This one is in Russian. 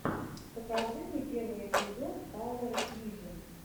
покажи мне первый эпизод пауэр вижен